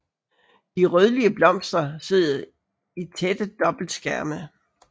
De rødlige blomster sidder i tætte dobbeltskærme